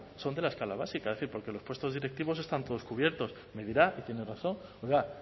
son de la escala básica es decir porque los puestos directivos están todos cubiertos y me dirá y tiene razón oiga